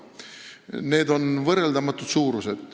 Need on võrreldamatud suurused.